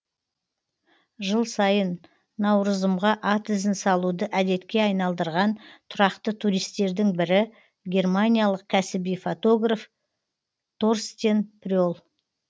жыл сайын наурызымға ат ізін салуды әдетке айналдырған тұрақты туристердің бірі германиялық кәсіби фотограф торстен пре л